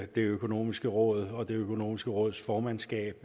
det økonomiske råd og det økonomiske råds formandskab